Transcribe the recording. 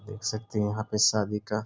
देख सकती है यहाँ पे शादी का --